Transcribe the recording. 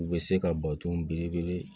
U bɛ se ka bato ye